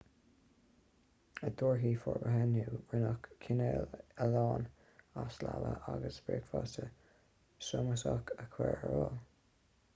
i dtíortha forbartha inniu rinneadh cineál ealaíne as leaba agus bricfeasta sómasach a chur ar fáil